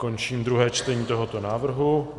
Končím druhé čtení tohoto návrhu.